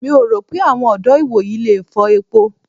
Mi ò rò pé àwọn ọ̀dọ́ ìwòyí le fọ epo.